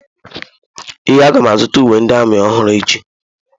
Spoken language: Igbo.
Ee, aga m azụta uwe ndị amị ọhụrụ echi.